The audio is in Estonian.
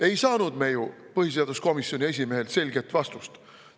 Ei saanud me ju põhiseaduskomisjoni esimehelt selget vastust.